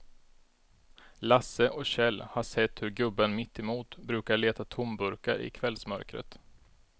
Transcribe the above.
Lasse och Kjell har sett hur gubben mittemot brukar leta tomburkar i kvällsmörkret.